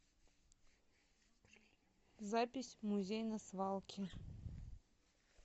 запись музей на свалке